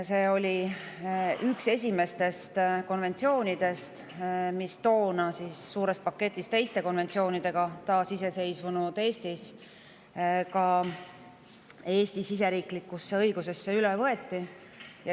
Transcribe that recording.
See oli üks esimestest konventsioonidest, mis toona suurest konventsioonide paketist võeti taasiseseisvunud Eesti siseriiklikusse õigusesse üle.